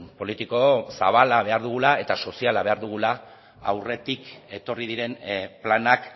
politiko zabala behar dugula eta soziala behar dugula aurretik etorri diren planak